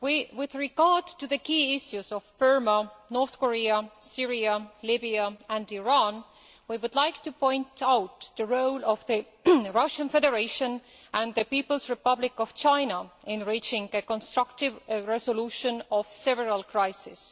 With regard to the key issues of Burma, North Korea, Syria, Libya and Iran we would like to point out the role of the Russian Federation and the People's Republic of China in reaching a constructive resolution of several crises.